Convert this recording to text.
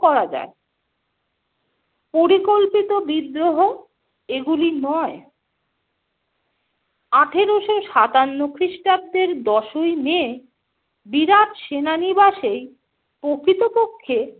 করা যায়, পরিকল্পিত বিদ্রোহ এগুলি নয়। আঠেরোশো সাতান্ন খ্রিস্টাব্দের দশোই মে বিরাট সেনানিবাসেই প্রকৃতপক্ষে